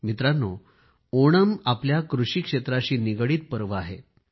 मित्रांनो ओणम आपल्या कृषी क्षेत्राशी निगडीत सण आहे